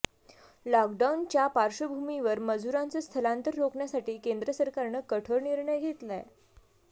लॉकडाऊनच्या पार्श्वभूमीवर मजुरांचं स्थलांतर रोखण्यासाठी केंद्र सरकारनं कठोर निर्णय घेतलाय